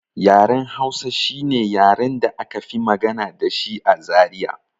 Yaren Hausa shine yaren da aka fi magana dashi a Zaria